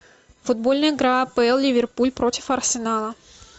футбольная игра апл ливерпуль против арсенала